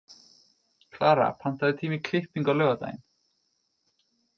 Klara, pantaðu tíma í klippingu á laugardaginn.